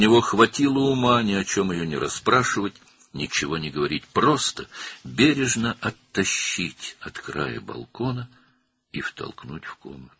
Onun heç nə soruşmamağa, heç nə deməməyə, sadəcə ehtiyatla onu balkonun kənarından uzaqlaşdırıb otağa itələməyə ağlı çatdı.